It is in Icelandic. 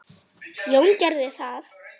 Jón gerði það.